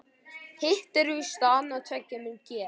Hitt er víst að annað tveggja mun gerast.